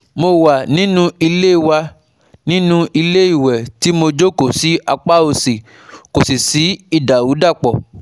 Mo wà nínú ilé wà nínú ilé ìwẹ̀ tí mo jókòó sí apá òsì kò sí ìdàrúdàpọ̀